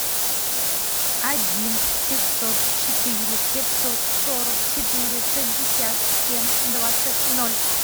один пятьсот четыре пятьсот сорок четыре шестьдесят семь двадцать ноль